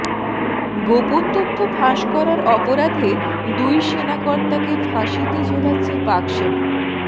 গোপন তথ্য ফাঁস করার অপরাধে দুই সেনাকর্তাকে ফাঁসিতে ঝোলাচ্ছে পাকসেনা